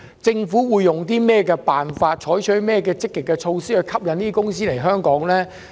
政府會用甚麼辦法及採取哪些積極措施，吸引這些公司和機構來港？